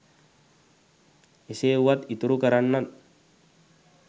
එසේ වුවත් ඉතුරු කරන්නන්